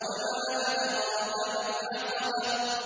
وَمَا أَدْرَاكَ مَا الْعَقَبَةُ